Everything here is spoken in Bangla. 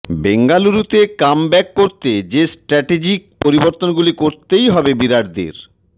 বেঙ্গালুরুতে কামব্যাক করতে যে স্ট্র্যাটেজিক পরিবর্তনগুলি করতেই হবে বিরাটদের